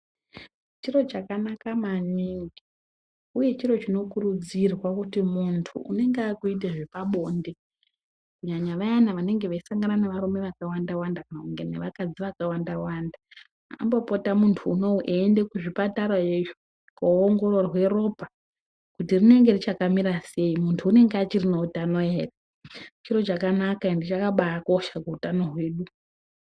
Chiro chakanaka maningi uye chiro chinokurudzirwa kuti muntu unenge akuite zvepabonde kunyanya vayana vanonga veisangana nevarume vakawanda-wanda kana nevakadzi vakawanda-wanda ambopota muntu unou eienda kuzvipatara kuongororwe ropa kuti rinenge richakamira sei. Muntu unenge achiri neutano ere. Chiro chakanaka endi chakabaakosha kuutano hwedu.